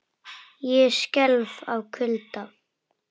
Ég skelf af kulda.